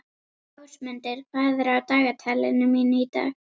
Ásmundur, hvað er á dagatalinu mínu í dag?